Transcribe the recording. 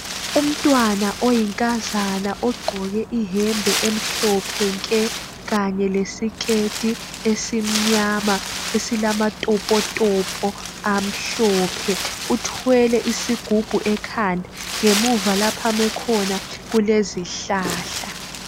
Umntwana oyinkazana ogqoke ihembe emhlophe nke kanye lesiketi esimnyama esilamatopotopo amhlophe uthwele isigubhu ekhanda. Ngemuva lapho ame khona kulezihlahla.